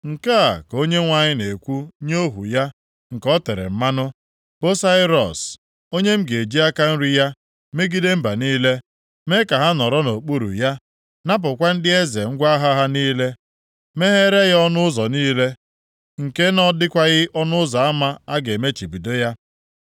“Nke a ka Onyenwe anyị na-ekwu nye ohu ya nke o tere mmanụ, bụ Sairọs, onye m ga-eji aka nri ya megide mba niile, mee ka ha nọrọ nʼokpuru ya, napụkwa ndị eze ngwa agha ha niile, megheere ya ọnụ ụzọ niile nke na ọ dịkwaghị ọnụ ụzọ ama a ga-emechibido ya.